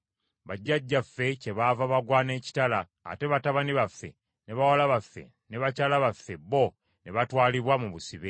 Bajjajjaffe kyebaava bagwa n’ekitala, ate batabani baffe, ne bawala baffe ne bakyala baffe bo ne batwalibwa mu busibe.